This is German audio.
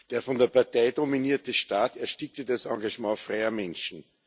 Der von der Partei dominierte Staat erstickte das Engagement freier Menschen.